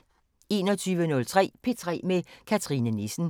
21:03: P3 med Cathrine Nissen